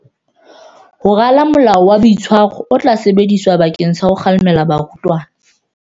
Ho rala molao wa boitshwaro o tla sebediswa bakeng sa ho kgalema barutwana.